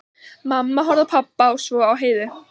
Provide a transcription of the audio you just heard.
Mamma horfði á pabba, svo á Heiðu.